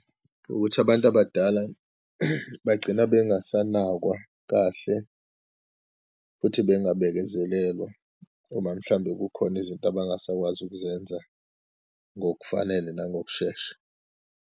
Ukuthi abantu abadala bagcina bengasanakwa kahle, futhi bengabekezelelwa uma, mhlawumbe kukhona izinto abangasakwazi ukuzenza ngokufanele nangokushesha.